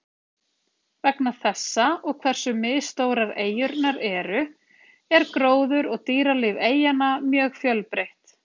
Vegna þessa og hversu misstórar eyjurnar eru, er gróður og dýralíf eyjanna mjög fjölbreytt.